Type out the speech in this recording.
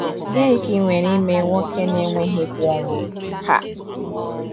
Gịnị ka ị nwere ike ime nwoke na-enweghị egwu ọnwụ? um